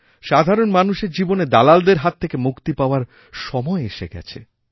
সাধারণ মানুষের জীবনে দালালদেরহাত থেকে মুক্তি পাওয়ার সময় এসেছে